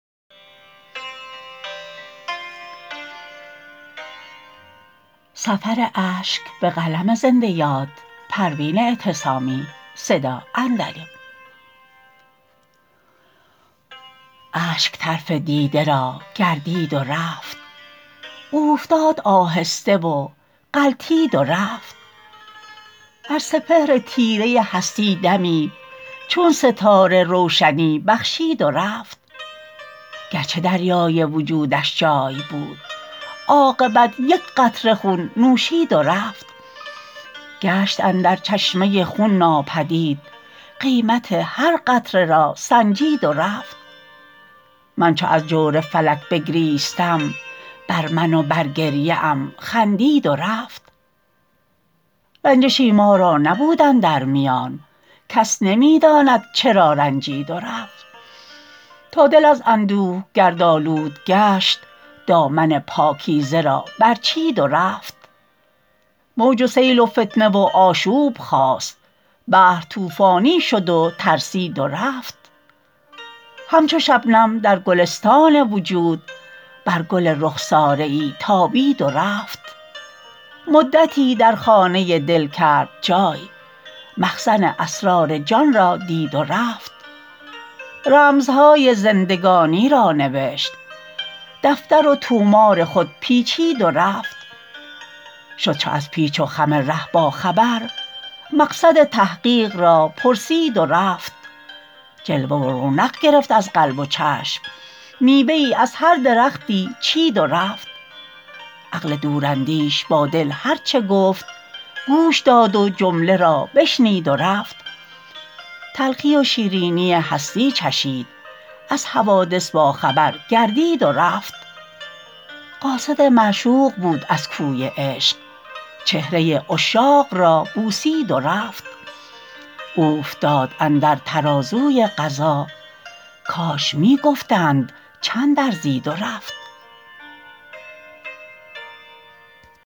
اشک طرف دیده را گردید و رفت اوفتاد آهسته و غلتید و رفت بر سپهر تیره هستی دمی چون ستاره روشنی بخشید و رفت گرچه دریای وجودش جای بود عاقبت یکقطره خون نوشید و رفت گشت اندر چشمه خون ناپدید قیمت هر قطره را سنجید و رفت من چو از جور فلک بگریستم بر من و بر گریه ام خندید و رفت رنجشی ما را نبود اندر میان کس نمیداند چرا رنجید و رفت تا دل از اندوه گرد آلود گشت دامن پاکیزه را بر چید و رفت موج و سیل و فتنه و آشوب خاست بحر طوفانی شد و ترسید و رفت همچو شبنم در گلستان وجود بر گل رخساره ای تابید و رفت مدتی در خانه دل کرد جای مخزن اسرار جان را دید و رفت رمزهای زندگانی را نوشت دفتر و طومار خود پیچید و رفت شد چو از پیچ و خم ره با خبر مقصد تحقیق را پرسید و رفت جلوه و رونق گرفت از قلب و چشم میوه ای از هر درختی چید و رفت عقل دوراندیش با دل هر چه گفت گوش داد و جمله را بشنید و رفت تلخی و شیرینی هستی چشید از حوادث با خبر گردید و رفت قاصد معشوق بود از کوی عشق چهره عشاق را بوسید و رفت اوفتاد اندر ترازوی قضا کاش میگفتند چند ارزید و رفت